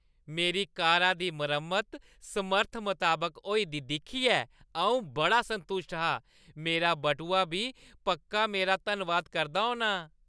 मेरी कारा दी मरम्मत समर्थ मताबक होई दी दिक्खियै अऊं बड़ा संतुश्ट आं। मेरा बटुआ बी पक्क मेरा धन्नबाद करदा होना।